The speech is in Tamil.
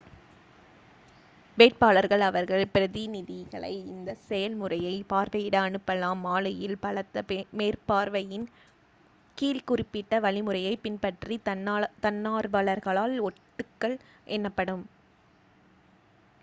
வேட்பாளர்கள் அவர்கள் பிரதிநிதிகளை இந்தச் செயல்முறையைப் பார்வையிட அனுப்பலாம் மாலையில் பலத்த மேற்பார்வையின் கீழ் குறிப்பிட்ட வழிமுறையைப் பின்பற்றித் தன்னார்வலர்களால் ஓட்டுக்கள் எண்ணப்படும்